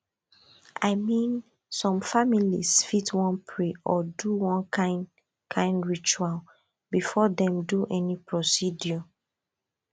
i mean some families fit wan pray or do one kind kind ritual before dem do any procedure